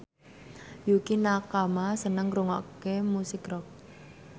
Yukie Nakama seneng ngrungokne musik rock